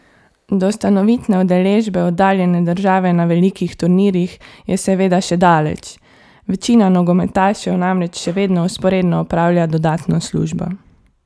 Do stanovitne udeležbe oddaljene države na velikih turnirjih je seveda še daleč, večina nogometašev namreč še vedno vzporedno opravlja dodatno službo.